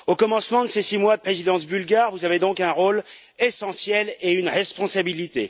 Au commencement de ces six mois de présidence bulgare, vous avez donc un rôle essentiel et une responsabilité.